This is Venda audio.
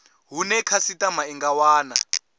hune khasitama i nga wana